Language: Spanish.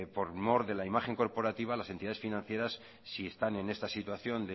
por mor de la imagen corporativa las entidades financieras si están en esta situación